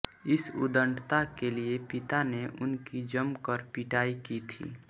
इस उद्दंडता के लिए पिता ने उनकी जम कर पिटाई की थी